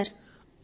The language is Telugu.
yes sir